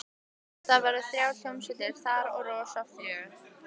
Það verða þrjár hljómsveitir þar og rosa fjör.